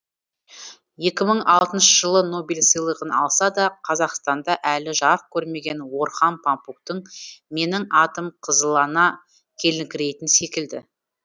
екі мың алтыншы жылы нобель сыйлығын алса да қазақстанда әлі жарық көрмеген орхан памуктың менің атым қызылына келіңкірейтін секілді